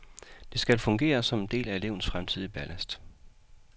Det skal fungere som en del af elevens fremtidige ballast.